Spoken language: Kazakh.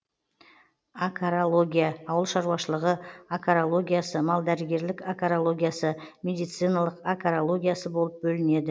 акарология ауылшаруашылығы акарологиясы малдәрігерлік акарологиясы медициналық акарологиясы болып бөлінеді